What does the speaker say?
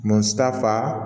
Mansa fa